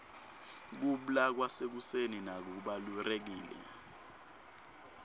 kubla kwasekuseni nako kubalurekile